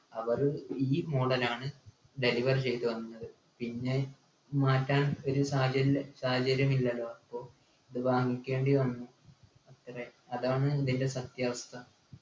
അവര് ഈ model ആണ് deliver ചെത്ത് തന്നത് പിന്നെ മാറ്റാൻ ഒരു സാധ്യത സാഹചര്യം ഇല്ലല്ലോ അപ്പൊ ഇത് വാങ്ങിക്കേണ്ടി വന്നു അത്രേ അതാണ് സത്യാവസ്ഥ